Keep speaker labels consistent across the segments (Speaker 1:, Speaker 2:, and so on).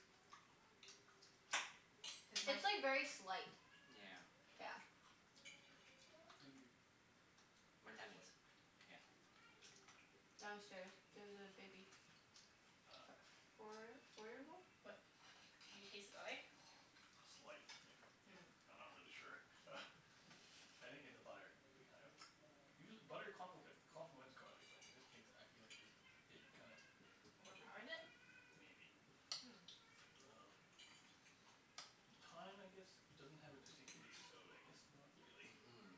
Speaker 1: Cuz mine
Speaker 2: It'd
Speaker 3: It's like very slight.
Speaker 4: Yeah.
Speaker 3: Yeah.
Speaker 2: be
Speaker 4: My
Speaker 2: very
Speaker 4: tenants,
Speaker 2: slight.
Speaker 4: yeah.
Speaker 3: Downstairs. There's a baby.
Speaker 2: Ah.
Speaker 3: F- four four years old?
Speaker 1: But do you taste the garlic?
Speaker 2: Slight, if if,
Speaker 1: Mm.
Speaker 2: I'm not really sure. I think it's the butter, it kind of, usual- butter complic- complements garlic but in this case I feel like just, it kind of
Speaker 1: Overpowers it?
Speaker 2: Maybe. Um And thyme I guess doesn't have a distinct taste, so I guess not
Speaker 1: Hmm.
Speaker 2: really.
Speaker 4: Mhm.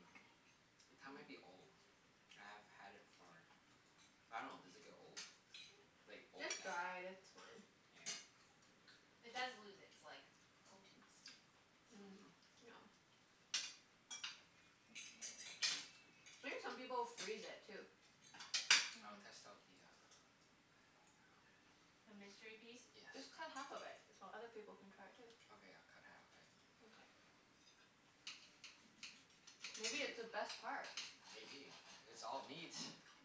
Speaker 4: The thyme might be old. I've had it for, I dunno, does it get old?
Speaker 1: Mm.
Speaker 4: Like,
Speaker 3: It's
Speaker 4: open after
Speaker 3: dried. It's fine.
Speaker 1: It does
Speaker 4: Yeah.
Speaker 1: lose its like, potency.
Speaker 3: Mm, yeah.
Speaker 4: Mhm.
Speaker 3: I think some people freeze it, too.
Speaker 4: I will
Speaker 1: Mhm.
Speaker 4: test out the uh,
Speaker 1: The mystery piece?
Speaker 4: yes.
Speaker 3: Just cut half of it so other people can try it too.
Speaker 4: Okay, I'll cut half of it.
Speaker 3: Mkay.
Speaker 4: Ooh,
Speaker 3: Maybe it's the best part?
Speaker 4: maybe. It's all meat.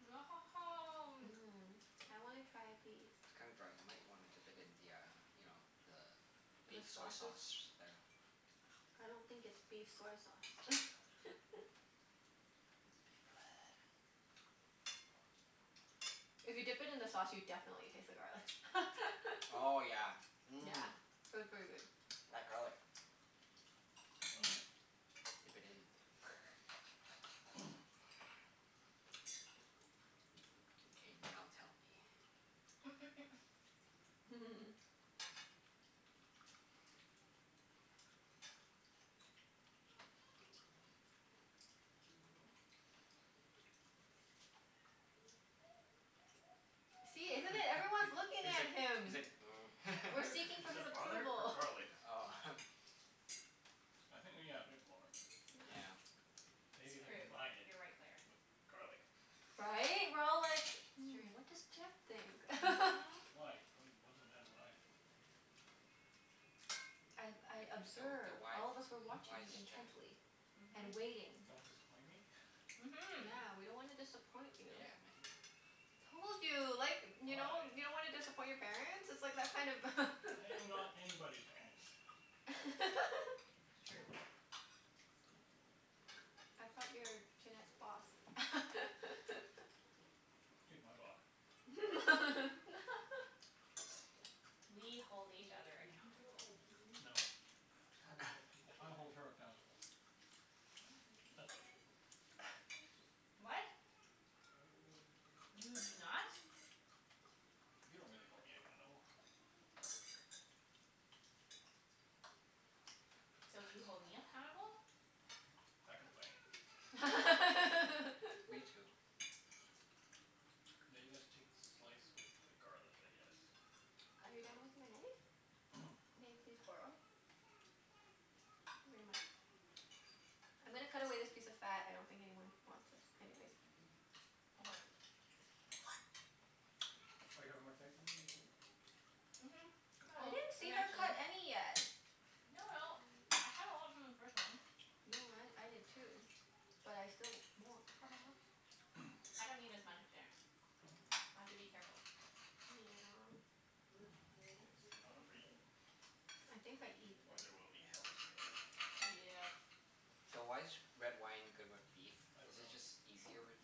Speaker 3: Mmm. I wanna try a piece.
Speaker 4: It's kinda dry. You might wanna dip it in the uh, you know, the
Speaker 3: The
Speaker 4: beef soy
Speaker 3: sauces?
Speaker 4: sauce there.
Speaker 3: I don't think it's beef
Speaker 4: Beef
Speaker 3: soy sauce.
Speaker 4: blood.
Speaker 3: If you dip it in the sauce, you definitely taste the garlic.
Speaker 4: Oh yeah,
Speaker 3: Yeah.
Speaker 4: mmm.
Speaker 3: P- pretty good. Mhm.
Speaker 4: That garlic.
Speaker 2: Well then.
Speaker 4: Dip it in. K, now tell me.
Speaker 3: See,
Speaker 4: He's
Speaker 3: isn't it? Everyone's looking
Speaker 4: like,
Speaker 3: at
Speaker 4: he's
Speaker 3: him.
Speaker 4: like, mm.
Speaker 3: We're
Speaker 2: Butter?
Speaker 3: seeking for
Speaker 2: Is
Speaker 3: his
Speaker 2: that butter or
Speaker 3: approval.
Speaker 2: garlic?
Speaker 4: Oh.
Speaker 2: I think yeah, a bit more.
Speaker 3: Yeah.
Speaker 2: Maybe if
Speaker 1: It's
Speaker 2: I
Speaker 1: true.
Speaker 2: combined it
Speaker 1: You're right, Claire.
Speaker 2: with garlic.
Speaker 3: Right? We're all like,
Speaker 1: It's
Speaker 4: Yeah.
Speaker 3: "Hmm, what does
Speaker 1: true.
Speaker 3: Jeff think?"
Speaker 1: Mhm.
Speaker 2: Why? What d- what does it matter what I think?
Speaker 3: I've, I
Speaker 4: You're the the
Speaker 3: observe,
Speaker 4: wife
Speaker 3: all of us were watching
Speaker 4: wise
Speaker 3: you
Speaker 4: chef.
Speaker 3: intently. And
Speaker 1: Mhm.
Speaker 3: waiting.
Speaker 2: Don't disappoint me?
Speaker 1: Mhm.
Speaker 3: Yeah. We don't wanna disappoint you. Told you. Like, you know? You
Speaker 2: Why?
Speaker 3: don't wanna disappoint your parents? It's like that kind of
Speaker 4: Yeah,
Speaker 2: I am not anybody's parents.
Speaker 1: It's true.
Speaker 4: man.
Speaker 3: I thought you were Junette's boss?
Speaker 2: She's my boss.
Speaker 1: We hold each other accountable.
Speaker 2: No. I hold her accountable. That's about it.
Speaker 1: What? You do not.
Speaker 2: You don't really hold me accountable.
Speaker 1: So, you hold me appountable?
Speaker 2: I complain.
Speaker 3: Are
Speaker 2: Now
Speaker 4: Me too.
Speaker 2: you guys take slice with the garlic, I guess?
Speaker 3: you done with your knife? May I please borrow it? Thank you very much. I'm gonna cut away this piece of fat. I don't think anyone wants this anyways.
Speaker 1: Okay.
Speaker 2: Are you having more steak?
Speaker 1: Mhm, I
Speaker 3: I
Speaker 1: will.
Speaker 3: didn't see her
Speaker 1: Eventually.
Speaker 3: cut any yet.
Speaker 1: No no, I had a lot from the first one.
Speaker 3: No, I I did too. But I still mwan- ha ha ha.
Speaker 1: I don't eat as much at dinner. I have to be careful.
Speaker 3: Yeah.
Speaker 2: Yes, do not overeat.
Speaker 3: I think I eat
Speaker 2: Or there will be hell to pay.
Speaker 1: Yep.
Speaker 4: So, why is g- red wine good with beef?
Speaker 2: I don't
Speaker 4: Is it
Speaker 2: know.
Speaker 4: just easier,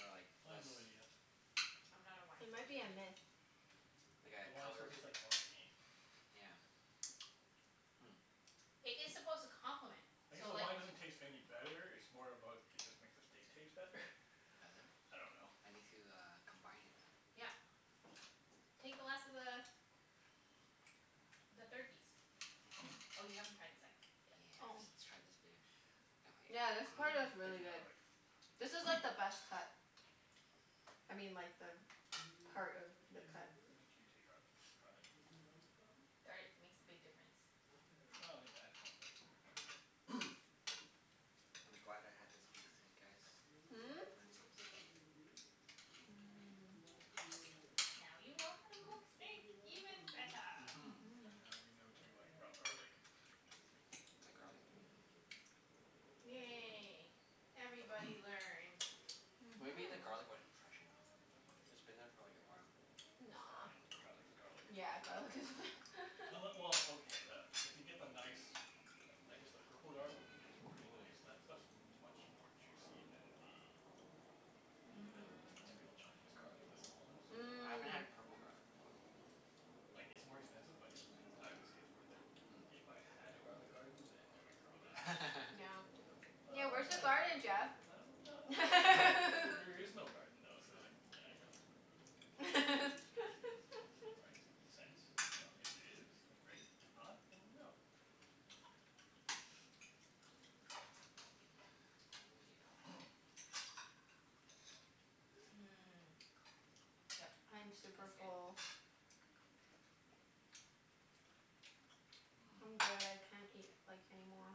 Speaker 4: or like,
Speaker 2: I have
Speaker 4: less
Speaker 2: no idea.
Speaker 1: I'm not a wine
Speaker 3: It might be
Speaker 1: person.
Speaker 3: a myth.
Speaker 4: Like
Speaker 2: The
Speaker 4: a
Speaker 2: wine still
Speaker 4: color,
Speaker 2: tastes like wine to me.
Speaker 4: yeah.
Speaker 1: It is supposed to complement.
Speaker 2: I guess
Speaker 1: So
Speaker 2: the
Speaker 1: like
Speaker 2: wine doesn't taste any
Speaker 4: Hmm.
Speaker 2: better. It's more about, it just makes the steak taste better.
Speaker 4: Does it?
Speaker 2: I don't know.
Speaker 4: I need to uh, combine it.
Speaker 1: Yeah. Take the last of the the third piece. Oh, you haven't tried the second yet.
Speaker 4: Yeah,
Speaker 1: I
Speaker 3: Oh.
Speaker 1: see.
Speaker 4: let's let's try this baby.
Speaker 3: Yeah,
Speaker 4: Yummy.
Speaker 3: this
Speaker 4: Mmm.
Speaker 3: part is
Speaker 2: Take some
Speaker 3: really good.
Speaker 2: garlic.
Speaker 3: This is like the best cut. I mean, like the part of the
Speaker 2: Yes.
Speaker 3: cut.
Speaker 2: Make sure you take garlic. Garlic.
Speaker 1: Garlic makes a big difference.
Speaker 2: Well, yeah, it adds more flavor for sure.
Speaker 4: I'm glad I had this beef with you guys.
Speaker 3: Hmm? Mmm.
Speaker 4: I learned some stuff.
Speaker 1: Now you know how to cook steak even better.
Speaker 2: And now we know to
Speaker 4: Mhm.
Speaker 2: like, rub garlic.
Speaker 4: The garlic. Mm.
Speaker 1: Yay. Everybody learned.
Speaker 3: Mhm.
Speaker 4: Maybe the garlic wasn't fresh enough? It's been there for like a while.
Speaker 2: It's
Speaker 3: Nah.
Speaker 2: fine. Garlic is garlic.
Speaker 3: Yeah, garlic is
Speaker 2: Unle- well, okay, the, if you get the nice I guess the purple garlic. Pretty nice. That stuff's much more juicy than the than the typical
Speaker 1: Mmm.
Speaker 2: Chinese garlic. The small ones.
Speaker 4: Ooh. I haven't had
Speaker 3: Mm.
Speaker 4: a purple garlic before.
Speaker 2: Like, it's more expensive but it, I I would say it's worth it. If I had a garlic garden then I would grow that.
Speaker 3: No. Yeah,
Speaker 2: But
Speaker 3: where's the
Speaker 4: Mm.
Speaker 2: I
Speaker 1: Mmm.
Speaker 3: garden,
Speaker 2: dunno.
Speaker 3: Jeff?
Speaker 2: I don't ah, there is no garden though, so, yeah, I don't. Right? Makes sense. You know? If there is, then great. If not, then no.
Speaker 4: Oh
Speaker 1: Mmm. Yep.
Speaker 3: I'm super
Speaker 1: That's good.
Speaker 3: full.
Speaker 4: yeah.
Speaker 3: I'm good. I can't eat, like, any more.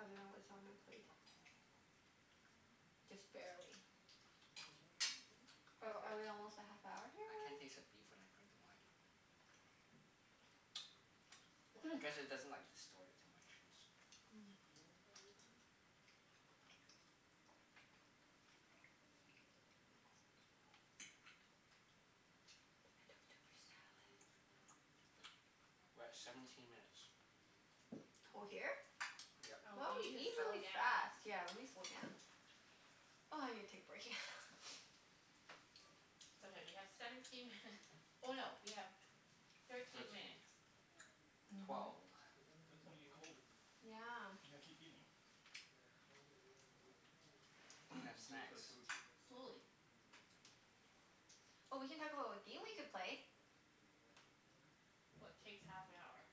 Speaker 3: Other than what's on my plate. Just
Speaker 4: Mmm.
Speaker 3: barely. Are
Speaker 1: That's good.
Speaker 3: are we almost at half hour here
Speaker 4: I can't
Speaker 3: already?
Speaker 4: taste the beef when I drink the wine I guess it doesn't like, distort it too much since
Speaker 3: Mm. I think I took too much salad.
Speaker 4: We're at seventeen minutes.
Speaker 3: Co- here?
Speaker 4: Yep.
Speaker 3: Wow,
Speaker 1: Oh, we
Speaker 3: we
Speaker 1: need
Speaker 3: eat
Speaker 1: to slow
Speaker 3: really fast.
Speaker 1: down.
Speaker 3: Yeah, let me slow down. Oh, I need to take a break, yeah.
Speaker 1: It's okay, we have seventeen minut- oh no, we have tw- thirteen
Speaker 4: Thirteen.
Speaker 1: minutes.
Speaker 3: Mhm.
Speaker 4: Twelve.
Speaker 2: But it's gonna get cold. You
Speaker 3: Yeah.
Speaker 2: gotta keep eating.
Speaker 4: Can have
Speaker 2: Do it
Speaker 4: snacks.
Speaker 2: for the food.
Speaker 1: Slowly.
Speaker 3: Oh, we can talk about what game we could play.
Speaker 1: What takes half an hour?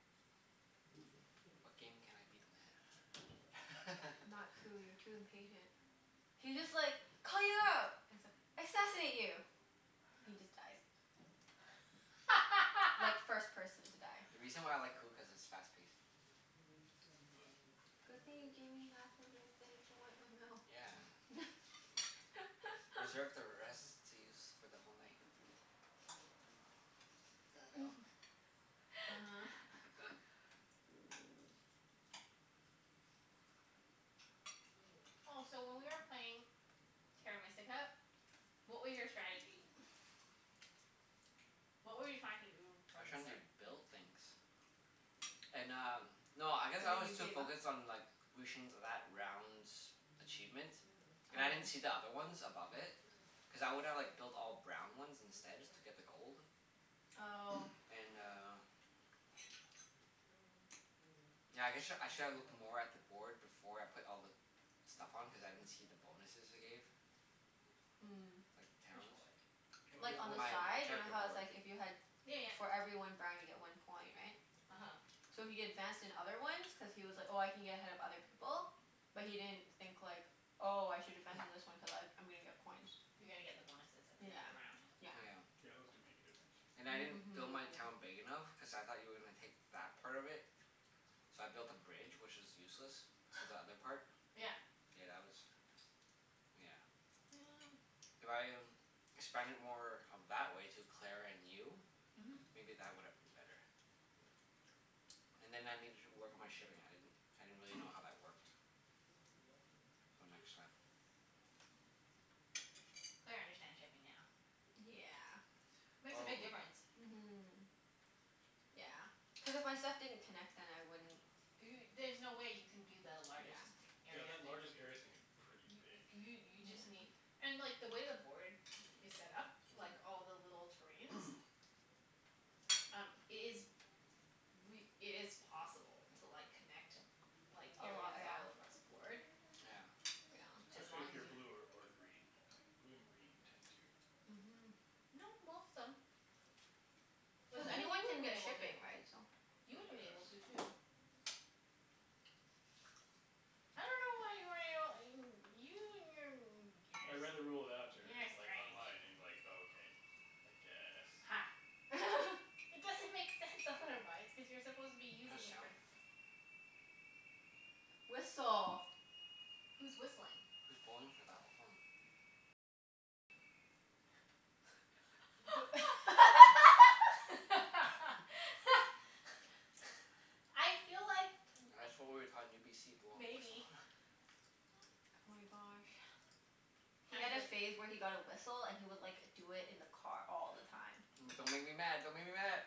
Speaker 4: What game can I beat them at?
Speaker 3: Not Coup. You're too impatient. He just like it's like, assassinate you! He just dies. Like, first person to die.
Speaker 4: The reason why I like Coup, cuz it's fast paced.
Speaker 3: Good thing you gave me half of your thing to wipe my mouth.
Speaker 4: Yeah. Reserve the rest to use for the whole night. No?
Speaker 1: Oh, so when we were playing Terra Mystica, what were your strategy?
Speaker 3: uh-huh.
Speaker 1: What were you trying to do
Speaker 4: I
Speaker 1: from
Speaker 4: was
Speaker 1: the
Speaker 4: trying to
Speaker 1: start?
Speaker 4: build things. And um, no, I guess
Speaker 3: And
Speaker 4: I
Speaker 3: then
Speaker 4: was
Speaker 3: you
Speaker 4: too
Speaker 3: gave up?
Speaker 4: focused on like reaching that round's achievement. And I didn't
Speaker 3: Oh.
Speaker 4: see the other ones above it. Cuz I would've like built all brown ones instead, just to get the gold.
Speaker 3: Oh.
Speaker 4: And uh yeah I guess sh- I should have looked more at the board before I put all the stuff on, cuz I didn't see the bonuses it gave.
Speaker 3: Mm.
Speaker 4: Like,
Speaker 1: Which
Speaker 4: towns.
Speaker 1: board?
Speaker 3: Like, on the
Speaker 4: My my
Speaker 3: side. You know
Speaker 4: character
Speaker 3: how it's
Speaker 4: board.
Speaker 3: like if you had
Speaker 1: Yeah yeah.
Speaker 3: for every one brown you get one coin, right?
Speaker 1: uh-huh.
Speaker 3: So he advanced in other ones cuz he was like, "Oh, I can get ahead of other people." But he didn't think, like "Oh, I should advance in this one cuz I I'm gonna get coins."
Speaker 1: You're gonna get the bonuses at the end of
Speaker 3: Yeah,
Speaker 1: the round.
Speaker 3: yeah.
Speaker 2: Yeah, those do make a difference.
Speaker 4: Yeah. And I didn't build my town big enough, cuz I thought you were gonna take that part of
Speaker 3: Mhm.
Speaker 4: it. So I built a bridge, which is useless. To the other part.
Speaker 1: Yeah.
Speaker 4: Yeah, that was, yeah. If I expanded more of that way to Claire and you
Speaker 1: Mhm.
Speaker 4: maybe that would have been better. And then I
Speaker 3: Yeah.
Speaker 4: needed to work on my shipping. I didn't I didn't really know how that worked. So, next time.
Speaker 1: Claire understands shipping now.
Speaker 3: D- yeah.
Speaker 1: Makes a
Speaker 4: Oh.
Speaker 1: big difference.
Speaker 3: Mhm. Yeah. Cuz if my stuff didn't connect then I wouldn't
Speaker 1: Do y- there's no way you can do the largest
Speaker 3: Yeah.
Speaker 2: Yeah,
Speaker 1: area
Speaker 2: that
Speaker 1: thing.
Speaker 2: largest area thing is pretty big.
Speaker 1: You you just
Speaker 3: Yeah.
Speaker 1: need and like, the way the board is set up like all the little terrains Um, it is
Speaker 4: Mm.
Speaker 1: re- it is possible to like, connect like,
Speaker 3: A lot,
Speaker 1: areas
Speaker 3: yeah.
Speaker 1: all
Speaker 3: Yeah.
Speaker 1: across the board.
Speaker 4: Yeah.
Speaker 1: As
Speaker 2: Especially
Speaker 1: long
Speaker 2: if
Speaker 1: as
Speaker 2: you're
Speaker 1: you
Speaker 2: blue
Speaker 1: ha-
Speaker 2: or or green, I think. Blue and green tend to
Speaker 3: Mhm.
Speaker 1: No, most them. Like,
Speaker 3: Cuz
Speaker 1: even you
Speaker 3: anyone can
Speaker 1: would've been
Speaker 3: get
Speaker 1: able to.
Speaker 3: shipping, right? So
Speaker 1: You
Speaker 2: tend
Speaker 1: would've
Speaker 2: to
Speaker 1: been able
Speaker 2: have
Speaker 1: to, too. I dunno why you weren't able you you and your n-
Speaker 2: I
Speaker 1: beginners.
Speaker 2: read
Speaker 1: You're a
Speaker 2: like
Speaker 1: strange.
Speaker 2: online, and like, okay. I guess.
Speaker 1: Ha. It doesn't make sense, otherwise. Cuz you're supposed to be
Speaker 4: What that
Speaker 1: using it for
Speaker 4: sound?
Speaker 3: Whistle.
Speaker 1: Who's whistling?
Speaker 4: Who's blowing for that long?
Speaker 1: I feel like
Speaker 4: That's what we were taught in UBC. Blowing the whistle.
Speaker 1: Maybe.
Speaker 3: Oh my gosh. He had a
Speaker 1: Actually
Speaker 3: phase where he got a whistle and he would like, do it in the car all the time.
Speaker 4: But don't make me mad. Don't make me mad.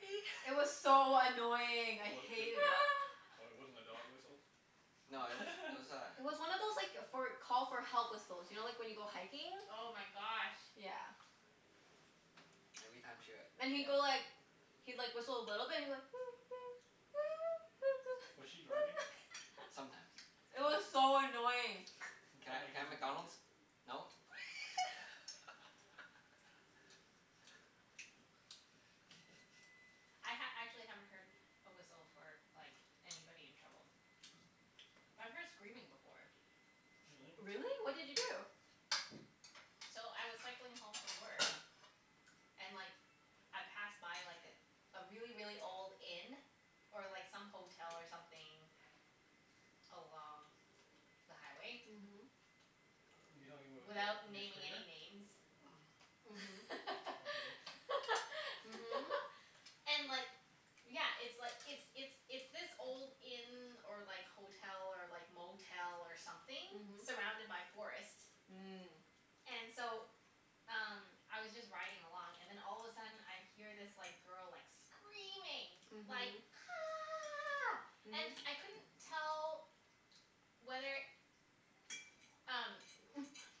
Speaker 4: Wee!
Speaker 3: It was so annoying.
Speaker 2: It
Speaker 3: I
Speaker 2: w- w-
Speaker 3: hated
Speaker 2: w-
Speaker 3: it.
Speaker 2: oh, it wasn't a dog whistle?
Speaker 4: No, it was, it was
Speaker 3: It was one of
Speaker 4: a
Speaker 3: those like, for call for help whistles. You know, like when you go hiking?
Speaker 1: Oh my gosh.
Speaker 3: Yeah.
Speaker 4: Every time she w-
Speaker 3: And he'd go
Speaker 4: yeah.
Speaker 3: like he'd like, whistle a little bit. He'd be like
Speaker 2: Was she driving?
Speaker 4: Sometimes.
Speaker 3: It
Speaker 2: I
Speaker 3: was
Speaker 2: see.
Speaker 3: so annoying.
Speaker 2: He
Speaker 4: Can
Speaker 2: felt
Speaker 4: I can
Speaker 2: like
Speaker 4: I
Speaker 2: he
Speaker 4: have
Speaker 2: was in
Speaker 4: McDonald's?
Speaker 2: danger.
Speaker 4: No?
Speaker 1: I ha- actually haven't heard a whistle for like, anybody in trouble. But I've heard screaming before.
Speaker 2: Really?
Speaker 3: Really? What did you do?
Speaker 1: So, I was cycling home from work and like I passed by like a really, really old inn. Or like some hotel or something along the highway.
Speaker 3: Mhm.
Speaker 2: You talking about?
Speaker 1: Without naming any names.
Speaker 3: Mhm.
Speaker 2: Okay.
Speaker 1: And like Yeah, it's like,
Speaker 3: Mhm.
Speaker 1: it's it's it's this old inn or like hotel, or like motel, or something surrounded by forest.
Speaker 3: Mhm.
Speaker 1: And so, um
Speaker 3: Mm.
Speaker 1: I was just riding along and then all of a sudden I hear this like, girl like, screaming. Like
Speaker 3: Mhm.
Speaker 1: "Ah!" And I couldn't tell whether
Speaker 3: Mhm.
Speaker 1: um,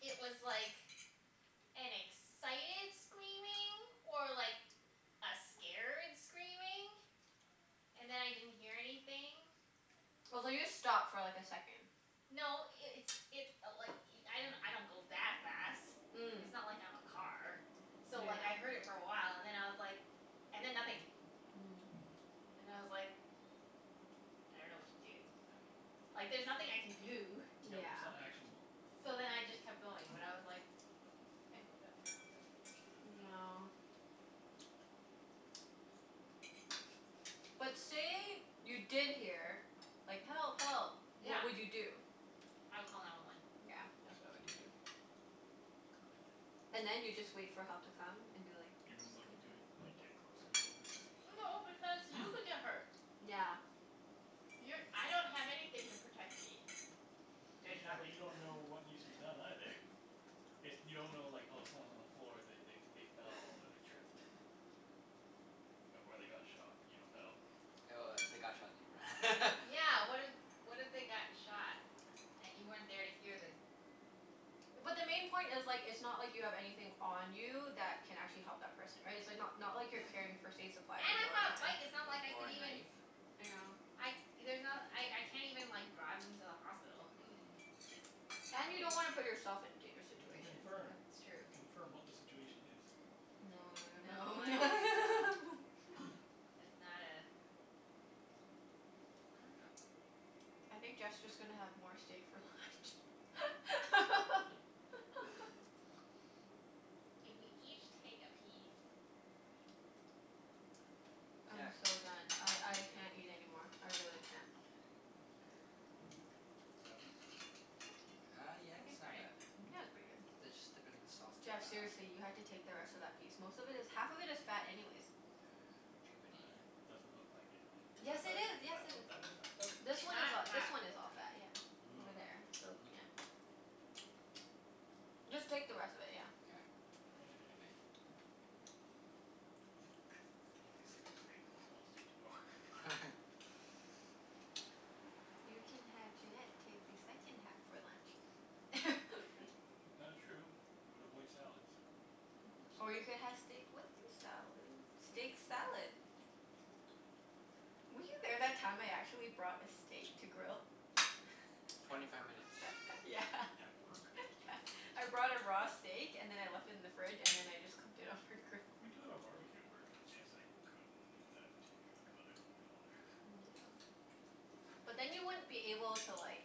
Speaker 1: it was like an excited screaming or like, a scared screaming. And then I didn't hear anything.
Speaker 3: I was like, just stop for like, a second.
Speaker 1: No, it it's it i- like i- I don't go that fast.
Speaker 3: Mm.
Speaker 1: It's not like I'm a car. So like, I heard it for a while and then I was like and then nothing. And I was like I don't know what to do. Like, there's nothing I can do.
Speaker 3: Yeah. Mm.
Speaker 2: Yep,
Speaker 3: Yeah.
Speaker 2: it's not actionable.
Speaker 1: So then I just kept going, but I was like mm, I hope that person's okay.
Speaker 3: Yeah. But say you did hear like, "Help! Help!"
Speaker 1: Yeah.
Speaker 3: What would you do?
Speaker 1: I would call nine one one.
Speaker 3: Yeah. That's what I would do, too. And then you just wait for help to come and be like
Speaker 2: You
Speaker 3: "It's
Speaker 2: wouldn't
Speaker 3: coming
Speaker 2: look into
Speaker 3: from there."
Speaker 2: it? Like, get closer a little bit to see what's going
Speaker 1: No,
Speaker 2: on?
Speaker 1: because you could get hurt.
Speaker 3: Yeah.
Speaker 1: You're, I don't have anything to protect me. There's
Speaker 2: Yeah, but you
Speaker 1: nothing.
Speaker 2: don't know what needs to be done, either. If you don't know like, oh someone's on the floor. They they they fell, or they tripped. Or they got shot. You don't know.
Speaker 1: But Yeah, what if what if they got shot? And you weren't there to hear the
Speaker 3: But the main point is like, it's not like you have anything on you that can actually help that person. Right? It's like not not like you're carrying first aid supplies
Speaker 1: And
Speaker 3: with you all
Speaker 1: I'm
Speaker 3: the
Speaker 1: on a bike.
Speaker 3: time.
Speaker 1: It's not like I
Speaker 4: O- or
Speaker 1: could
Speaker 4: a
Speaker 1: even
Speaker 4: knife.
Speaker 3: Yeah.
Speaker 1: I, there's not, I I can't even like, drive them to the hospital.
Speaker 4: Mm.
Speaker 3: And you
Speaker 1: Wha-
Speaker 3: don't wanna
Speaker 1: wha-
Speaker 3: put yourself in dangerous
Speaker 2: You can
Speaker 3: situation.
Speaker 1: That's
Speaker 3: Yeah.
Speaker 2: confirm.
Speaker 1: true.
Speaker 2: Confirm what the situation is.
Speaker 3: No no no
Speaker 1: No, I don't think so.
Speaker 3: no.
Speaker 1: That's not a I dunno.
Speaker 3: I think Jeff's just gonna have more stay for left.
Speaker 1: If we each take a piece
Speaker 3: I'm
Speaker 4: Yeah.
Speaker 3: so done.
Speaker 1: See
Speaker 3: I
Speaker 1: if you
Speaker 3: I
Speaker 1: can do it.
Speaker 3: can't eat anymore. I really can't.
Speaker 2: Is that piece good?
Speaker 4: Uh, yeah,
Speaker 1: I can
Speaker 4: it's
Speaker 1: try
Speaker 4: not
Speaker 1: it.
Speaker 4: bad.
Speaker 3: Yeah, it's pretty
Speaker 4: Just dip it in the
Speaker 3: good.
Speaker 4: sauce to uh
Speaker 3: Jeff, seriously, you have to take the rest of that piece. Most of it is, half of it is fat anyways.
Speaker 4: rejuvenate
Speaker 2: I, doesn't look like it.
Speaker 4: it.
Speaker 2: Is
Speaker 3: Yes,
Speaker 2: that
Speaker 3: it
Speaker 2: fat?
Speaker 3: is.
Speaker 2: Is
Speaker 3: Yes,
Speaker 2: that
Speaker 3: it
Speaker 2: one,
Speaker 3: is.
Speaker 2: that one's fat, though?
Speaker 3: This one is
Speaker 1: That
Speaker 3: a- this
Speaker 1: fat.
Speaker 3: one is all fat,
Speaker 2: Okay.
Speaker 3: yeah. Over there,
Speaker 2: Hmm.
Speaker 3: so yeah.
Speaker 4: Mmm. Mmm.
Speaker 3: Just take the rest of it, yeah.
Speaker 4: Yeah.
Speaker 2: Okay.
Speaker 4: You may.
Speaker 2: I'm gonna be sick of steak. I won't want steak tomorrow.
Speaker 3: You can have Junette take the second half for lunch.
Speaker 2: That is true. You would avoid salads.
Speaker 1: It's
Speaker 3: Or you could
Speaker 1: true.
Speaker 3: have steak with your salad? Steak salad. Were you there that time I actually brought a steak to grill?
Speaker 2: At
Speaker 4: Twenty five
Speaker 2: work?
Speaker 4: minutes.
Speaker 3: Yeah.
Speaker 2: At work?
Speaker 3: Yeah. I brought a raw steak and then I left it in the fridge, and then I just cooked it on her grill.
Speaker 2: We do have a barbecue at work. I guess I could do that too, but I wouldn't be all there.
Speaker 3: Yeah. But then you wouldn't be able to like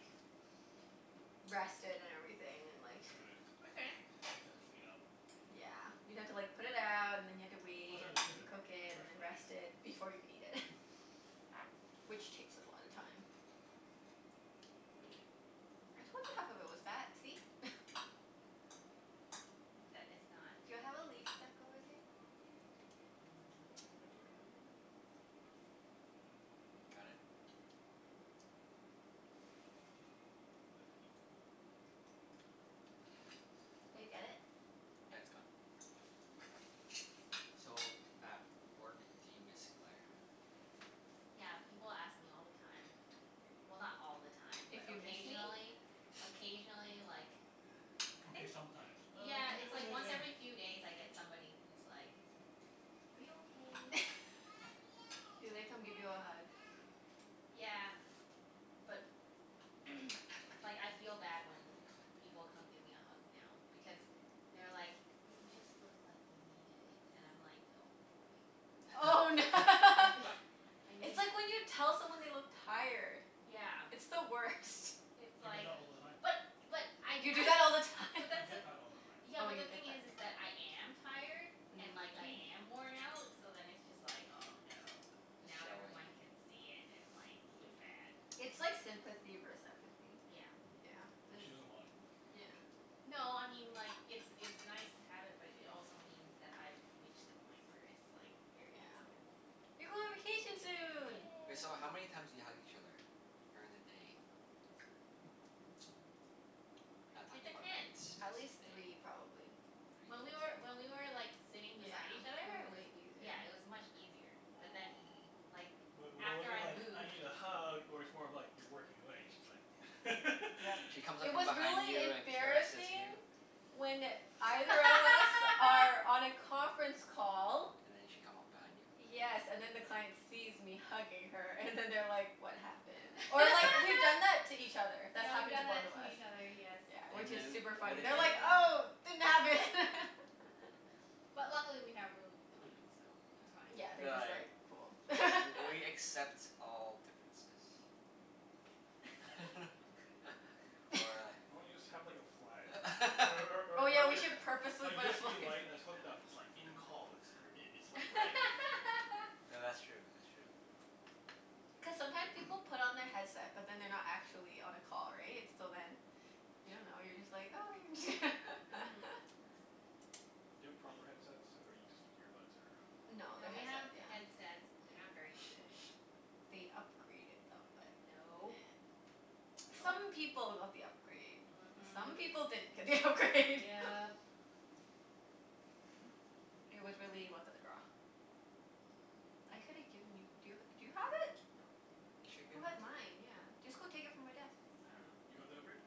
Speaker 3: rest it and everything, and like
Speaker 2: You could.
Speaker 1: We can.
Speaker 2: You'd have to clean up.
Speaker 3: Yeah. You'd have to like put it out, and then you'd have to
Speaker 2: Plus
Speaker 3: wait,
Speaker 2: I'd have
Speaker 3: and
Speaker 2: to
Speaker 3: then you'd
Speaker 2: clean
Speaker 3: have
Speaker 2: the
Speaker 3: to cook
Speaker 2: barbecue
Speaker 3: it,
Speaker 2: in the
Speaker 3: and
Speaker 2: first
Speaker 3: then
Speaker 2: place.
Speaker 3: rest it before you can eat it. Which takes a lot of time. I told you half of it was fat, see?
Speaker 1: That is not
Speaker 3: Do I have a leaf stuck over there?
Speaker 4: Right here.
Speaker 2: Can't tell, I think that's meat. It was fine.
Speaker 3: Did I get
Speaker 4: Got
Speaker 3: it?
Speaker 4: it? Yeah, it's gone. So, at work do you miss Claire?
Speaker 1: Yeah, people ask me all the time. Well, not all the time, but
Speaker 3: If you miss me?
Speaker 1: occasionally. Occasionally, like I
Speaker 2: Okay,
Speaker 1: think
Speaker 2: sometimes.
Speaker 1: Yeah,
Speaker 2: Uh
Speaker 1: it's like once every few days I get somebody who's like "Are you okay?"
Speaker 3: Do they come give you a hug?
Speaker 1: Yeah. But like, I feel bad when people come give me a hug now. Because they're like "You just look like you needed it." And I'm like, oh boy.
Speaker 3: Oh
Speaker 1: I fee- I
Speaker 3: It's
Speaker 1: need
Speaker 3: like when you tell someone they look tired.
Speaker 1: Yeah.
Speaker 3: It's the worst.
Speaker 1: It's
Speaker 2: I get
Speaker 1: like
Speaker 2: that all the time.
Speaker 1: But but I
Speaker 3: You do
Speaker 1: usually
Speaker 3: that all the time?
Speaker 1: but
Speaker 2: I
Speaker 1: that's the
Speaker 2: get that all the time.
Speaker 1: Yeah,
Speaker 3: Oh,
Speaker 1: but
Speaker 3: you
Speaker 1: the
Speaker 3: get
Speaker 1: thing is is
Speaker 3: that.
Speaker 1: that I am tired. And like, I
Speaker 3: Mm.
Speaker 1: am worn out. So then it's just like, oh no.
Speaker 4: It's
Speaker 1: Now
Speaker 4: showing.
Speaker 1: everyone can see it, and like it's bad.
Speaker 3: It's like sympathy vers- empathy.
Speaker 1: Yeah.
Speaker 3: Yeah,
Speaker 2: And
Speaker 3: this
Speaker 2: she doesn't want it.
Speaker 3: Yeah.
Speaker 1: No, I mean like It's it's nice to have it, but it also means that I've reached the point where it's like, very
Speaker 3: Yeah.
Speaker 1: visible.
Speaker 3: You go on vacation soon!
Speaker 4: Wait, so
Speaker 1: Yay.
Speaker 4: how many times do you hug each other? During the day. Not
Speaker 1: It
Speaker 4: talking about nights.
Speaker 1: depends.
Speaker 4: Just
Speaker 3: At
Speaker 4: day.
Speaker 3: least three,
Speaker 4: Three?
Speaker 3: probably. I'd
Speaker 1: When we were,
Speaker 3: say.
Speaker 1: when we were like, sitting
Speaker 3: Yeah.
Speaker 1: beside each other,
Speaker 3: It was
Speaker 1: it was
Speaker 3: way
Speaker 1: yeah,
Speaker 3: easier.
Speaker 1: it was much easier. But then,
Speaker 4: Mm.
Speaker 1: like
Speaker 2: Wait, what was
Speaker 1: after
Speaker 2: it
Speaker 1: I
Speaker 2: like, "I
Speaker 1: moved
Speaker 2: need a hug?" Or it's more of like you're working away and she's like
Speaker 3: Yep.
Speaker 4: She comes up
Speaker 3: It
Speaker 4: from
Speaker 3: was
Speaker 4: behind
Speaker 3: really
Speaker 4: you and caresses
Speaker 3: embarrassing
Speaker 4: you.
Speaker 3: when either of us are on a conference call
Speaker 4: And then she'd come up behind you?
Speaker 3: Yes, and then the client sees me hugging her, and then they're like "What happened?" Or like, we've done that to each other. That's
Speaker 1: Yeah, we've
Speaker 3: happened to
Speaker 1: done
Speaker 3: both
Speaker 1: that
Speaker 3: of
Speaker 1: to
Speaker 3: us.
Speaker 1: each other. Yes.
Speaker 3: Yeah, which
Speaker 4: And
Speaker 3: is
Speaker 4: then
Speaker 3: super
Speaker 4: what
Speaker 3: funny.
Speaker 4: did
Speaker 3: They're
Speaker 4: you
Speaker 3: like, "Oh, didn't happen!"
Speaker 1: But luckily we have really good clients, so it's
Speaker 3: Yeah,
Speaker 4: Yeah,
Speaker 1: fine.
Speaker 3: they're
Speaker 4: they're
Speaker 3: just like,
Speaker 4: like,
Speaker 3: "Cool."
Speaker 4: "W- we accept all differences." Or
Speaker 2: Why don't you just
Speaker 4: a
Speaker 2: have like a flag? Or or
Speaker 3: Oh,
Speaker 2: or
Speaker 3: yeah,
Speaker 2: or
Speaker 3: we
Speaker 2: like
Speaker 3: should
Speaker 2: A
Speaker 3: purposefully put a fla-
Speaker 2: USB light that's hooked up. It's like, "In call." It's gr- i- it's like red.
Speaker 4: Th- that's true, that's true.
Speaker 3: Cuz sometime people put on their headset but then they're not actually on a call, right? So then you don't know, you're just like, "Oh, there it is."
Speaker 1: Mhm.
Speaker 2: Do you have proper headsets, or you just use earbuds, or
Speaker 3: No,
Speaker 1: No,
Speaker 3: they're
Speaker 1: we have
Speaker 3: headset, yeah.
Speaker 1: headsets but they're not very good.
Speaker 3: They upgraded them but, nah.
Speaker 1: No.
Speaker 4: No?
Speaker 3: Some people got the upgrade. Some
Speaker 1: Mhm.
Speaker 3: people didn't get the upgrade.
Speaker 1: Yep.
Speaker 3: It was really luck of the draw. I coulda given you, do y- do you have it?
Speaker 1: Nope.
Speaker 4: You should've
Speaker 3: Who
Speaker 4: given
Speaker 3: had
Speaker 4: it to her.
Speaker 3: mine? Yeah. Just go take it from my desk.
Speaker 1: I dunno.
Speaker 2: You got the upgrade?